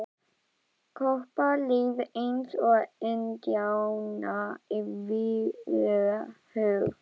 Kobba leið eins og indjána í vígahug.